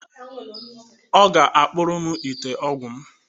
Ọ ga akpụrụ m ite ọgwụ m.